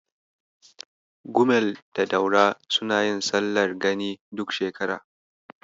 Gumel da Daura suna yin sallar gani duk shekara.